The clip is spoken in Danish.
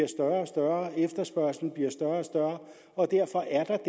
og større efterspørgslen bliver større og større og derfor er